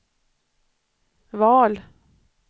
val